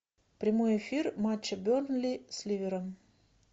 прямой эфир матча бернли с ливером